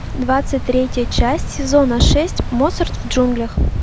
двадцать третья часть сезона шесть моцарт в джунглях